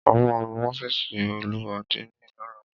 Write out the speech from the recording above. Ó ma nu ọ́fìsì olú àdínì lọ́la.